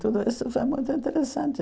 Tudo isso foi muito interessante.